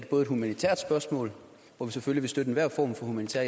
er et humanitært spørgsmål hvor vi selvfølgelig vil støtte enhver form for humanitær